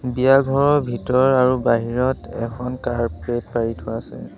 বিয়া ঘৰৰ ভিতৰত আৰু বাহিৰত এখন কাৰ্পেট পাৰি থোৱা আছে।